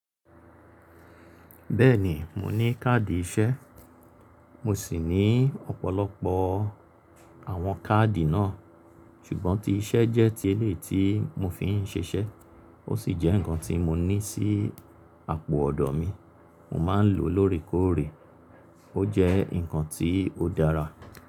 Bẹ́ẹ̀ni, mo ní káàdì iṣẹ́. Mo sì ní ọ̀pọ̀lọpọ̀ àwọn káàdì náà. Ṣùgbọ́n tí iṣẹ́ jẹ́ ti eleyii tí mo fi ń ṣiṣẹ́, ó sì jẹ́ ǹkan tí mo ní sí àpò ọ̀dọ̀ mi. Mo máa ń lò ó lóòrèkóòrè. Ó jẹ́ ǹkan tí ó dára.